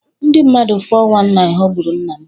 Ndị mmadụ 419 ghọgburu nna m.